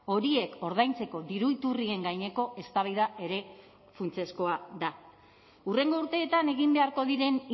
horiek ordaintzeko diru iturrien gaineko eztabaida ere funtsezkoa da hurrengo urteetan egin beharko diren